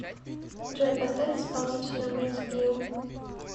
джой поставь исполнителя винс гилл